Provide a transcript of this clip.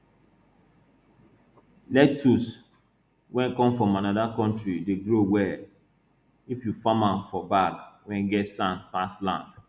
lettuce wey come from another country dey grow well if you farm am for bag wey get sand pass land